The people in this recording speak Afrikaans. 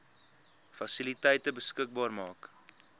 fasiliteite beskikbaar maak